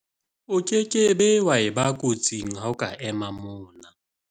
o ke ke wa eba kotsing ha o ka ema mona